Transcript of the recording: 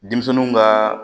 Denmisɛnninw ka